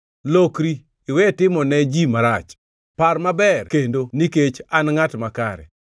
Lokri, iwe timo ne ji marach; par maber kendo, nikech an ngʼat makare.